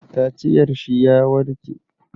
Kaciyar shi ya warke.